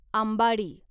आंबाडी